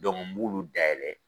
n b'ulu dayɛlɛ